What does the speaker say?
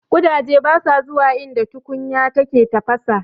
Ƙudaje basa zuwa inda tukunya take tafasa.